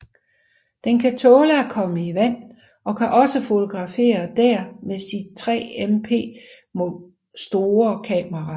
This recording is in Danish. Den kan tåle at komme i vand og kan også fotografere der med sit 3 mp må store kamera